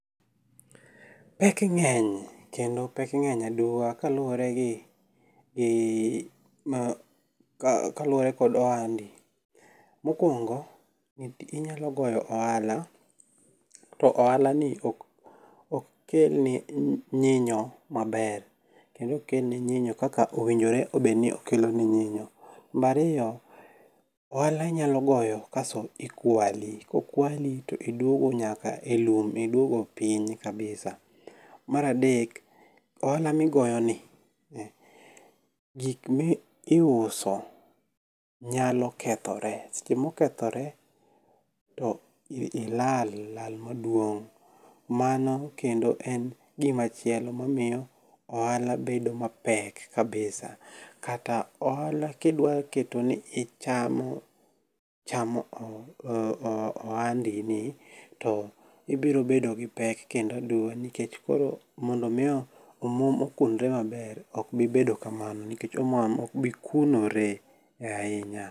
Pek ng'eny kendo pek ng'eny aduwa kaluwore gi kod ohandi. Mokwongo, inyalo goyo ohala to ohala ni ok kel ni nyinyo maber. Kendo ok kel ni nyinyo kaka owinjore obed ni okelo ni nyinyo. Namba ariro, ohala inyalo goyo kasto ikwali. Kokwali to iduogo nyaka e lum. Iduogo piny kabisa. Mar adek, ohala migoyoni gik miuso nyalo kethore. Seche mokethore to ilal lal maduong'. Mano kendo en gimachielo mamiyo ohala medo mapek kabisa. Kata ohala kidwa keto ni ichamo ohandi ni to ibiro bedo gi pek kendo aduwa nikech koro mondo miyo omuom okunre maber ok bibedo kamano nikech omuom ok bi kunore e ahinya.